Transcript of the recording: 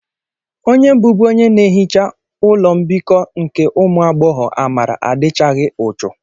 Onye bụbu onye na-ehicha ụlọ mbikọ nke ụmụ agbọghọ, Amara, adịchaghị uchu.